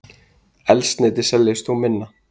Eldsneyti seljist þó minna